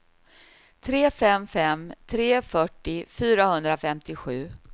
tre fem fem tre fyrtio fyrahundrafemtiosju